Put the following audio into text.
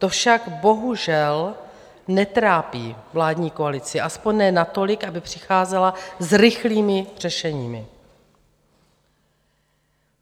To však bohužel netrápí vládní koalici, aspoň ne natolik, aby přicházela s rychlými řešeními.